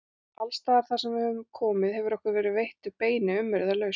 Alstaðar þarsem við höfum komið hefur okkur verið veittur beini umyrðalaust.